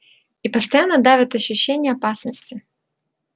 и постоянно давит ощущение опасности